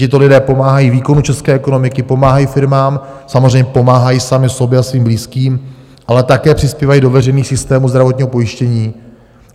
Tito lidé pomáhají výkonu české ekonomiky, pomáhají firmám, samozřejmě pomáhají sami sobě a svým blízkým, ale také přispívají do veřejných systémů zdravotního pojištění.